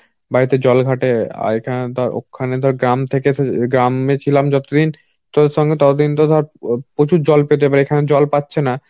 বাড়িতে জল ঘাটে আর এখানে ধর ওখানে ধর গ্রাম থেকে এসে~ গ্রামে ছিলাম যতদিন তোর সঙ্গে ততদিন তো ধর প্রচুর জল পেতে পারে এখানে জল পাচ্ছে না